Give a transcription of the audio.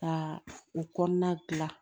Ka u kɔnɔna gilan